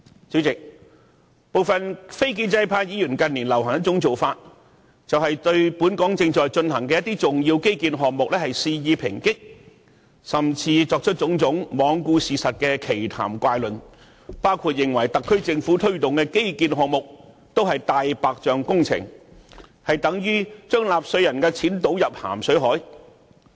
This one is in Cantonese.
主席，部分非建制派議員近年流行一種做法，就是對本港正在進行的重要基建項目肆意抨擊，甚至作出種種罔顧事實的奇談怪論，包括指稱特區政府推動的各項基建項目也是"大白象"工程，撥款等同於把納稅人的錢倒進大海。